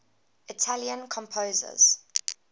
italian composers